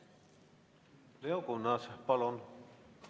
Leo Kunnas, palun!